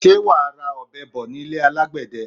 Sé wa ra ọ̀bẹ bo nílé alagbẹ̀dẹ?